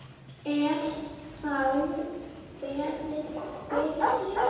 Er þá beðið fyrir sér.